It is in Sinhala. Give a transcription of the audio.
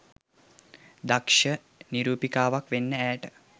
දක්ෂ නිරූපිකාවක් වෙන්න ඇයට